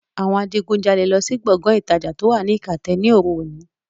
Àwọn adigunjalè lọ sí Gbọ̀ngán ìtajà to wá ní ikate ni oru òní